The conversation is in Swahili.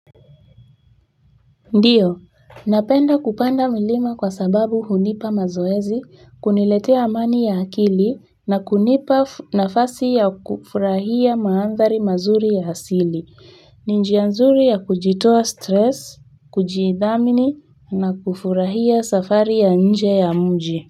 Ndiyo, napenda kupanda mlima kwa sababu hunipa mazoezi, kuniletea amani ya akili na kunipa nafasi ya kufurahia mandhari mazuri ya asili, ni njia nzuri ya kujitoa stress, kujidhamini na kufurahia safari ya nje ya mji.